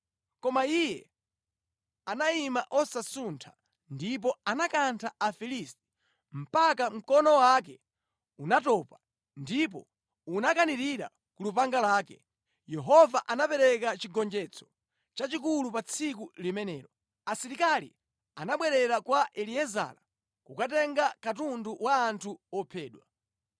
Koma iye anayima osasuntha ndipo anakantha Afilisti mpaka mkono wake unatopa ndipo unakanirira ku lupanga lake. Yehova anapereka chigonjetso chachikulu pa tsiku limenelo. Asilikali anabwerera kwa Eliezara, kukatenga katundu wa anthu ophedwa.